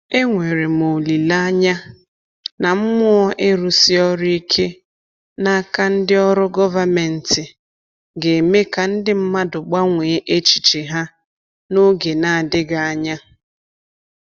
Enwere m olile anya na mmụọ ịrụsi ọrụ ike n’aka ndị ọrụ gọvanmentị ga-eme ka ndị mmadụ gbanwee echiche ha n’oge na-adịghị anya.